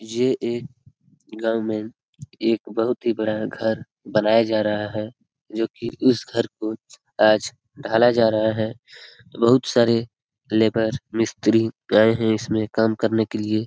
ये एक एक बहोत ही बड़ा घर बनाया जा रहा है। जो की इस घर को आज ढाला जा रहा है। बहुत सारे लेबर मिस्त्री आए है। इसमें काम करने के लिए ।